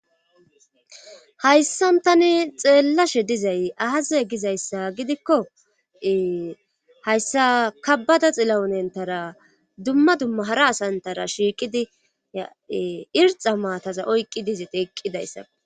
Hayssan tani xeellashe dizay ahaze gizayssa gidikkoe hayssa kabada xilawunentara dumma dumma hara asantara shiiqidi ya irxa maataza oyqqi dizayti eqqidayssa.